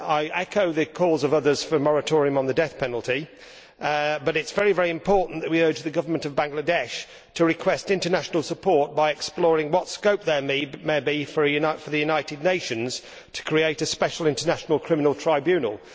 I echo the calls of others for a moratorium on the death penalty, but it is very, very important that we urge the government of Bangladesh to request international support by exploring what scope there may be for the United Nations to create a special international criminal tribunal.